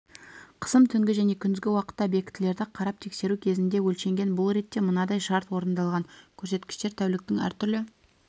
қысым түнгі және күндізгі уақытта объектілерді қарап тексеру кезінде өлшенген бұл ретте мынадай шарт орындалған көрсеткіштер тәуліктің әртүрлі